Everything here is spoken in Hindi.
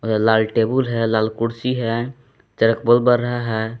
लाल टेबुल है लाल कुर्सी है चारक बल्ब बर रहा है।